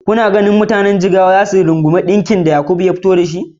Kuna ganin mutanen Jigawa za su rungumi sabbin salon ɗinkin da Yakub ya ɓullo da su?